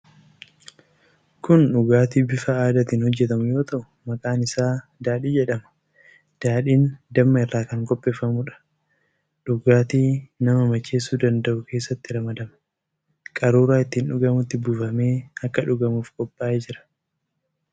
Kun dhugaatii bifa aadaatiin hojjetamu yoo ta'u, maqaan isaa daadhii jedhama. Daadhiin damma irraa kan qopheeffamuudha. Dhugaatii nama macheessuu danda'u keessattis ramadama. Qaruuraa ittiin dhugamutti buufamee akka dhugamuuf qophaa'ee jira.